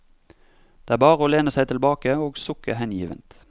Det er bare å lene seg tilbake og sukke hengivent.